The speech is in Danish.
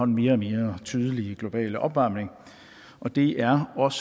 mere tydelige globale opvarmning og det er os